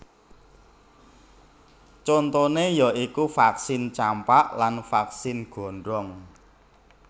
Contoné ya iku vaksin campak lan vaksin gondong